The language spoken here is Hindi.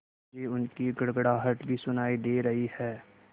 मुझे उनकी गड़गड़ाहट भी सुनाई दे रही है